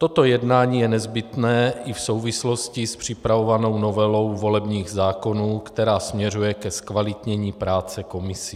Toto jednání je nezbytné i v souvislosti s připravovanou novelou volebních zákonů, která směřuje ke zkvalitnění práce komisí.